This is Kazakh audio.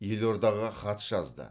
елордаға хат жазды